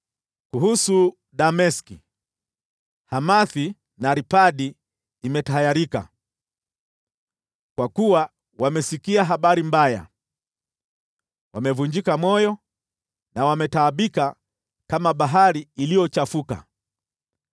Kuhusu Dameski: “Hamathi na Arpadi imetahayarika, kwa kuwa wamesikia habari mbaya. Wamevunjika moyo na wametaabika kama bahari iliyochafuka.